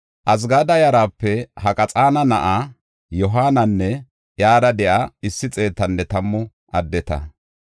Azgada yarape Haqaxaana na7a Yohaananne iyara de7iya issi xeetanne tammu addeta.